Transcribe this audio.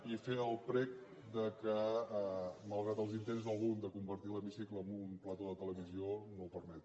i fer el prec que malgrat els intents d’algú de convertir l’hemicicle en un plató de televisió no ho permeti